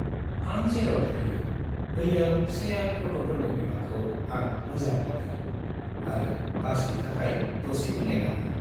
आं जेराव थायो बैयाव शेयार्ड अट'फोरनि बिबांखौ आं मोजां मोनो आरो बासनि थाखाय दसेबो नेनाङा।